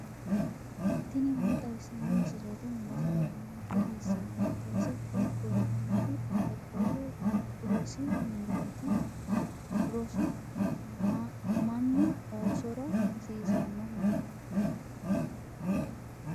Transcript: tini maa xawissanno misileeti ? mulese noori maati ? hiissinannite ise ? tini kultannori qaaqquullu rosi mineeti rosu mannu oossora hasiisannoho.